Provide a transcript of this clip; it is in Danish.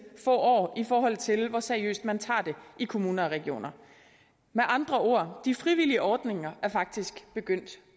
få år i forhold til hvor seriøst man tager det i kommuner og regioner med andre ord de frivillige ordninger er faktisk begyndt